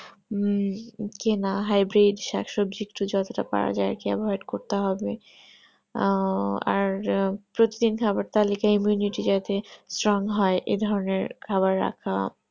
হম কেনা hybrid শাক সবজি যতটা পারা যাই avoid করতে হবে আহ আর প্রত্যেক দিন খাবার তালিকায় immunity যাতে strong হয় এই ধরণের খাবার খাওয়া